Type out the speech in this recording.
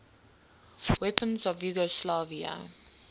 weapons of yugoslavia